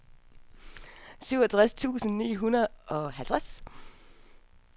syvogtres tusind ni hundrede og halvtreds